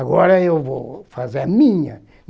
Agora eu vou fazer a minha.